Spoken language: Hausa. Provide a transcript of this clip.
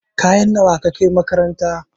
Kaya nawa ka kai makaranta?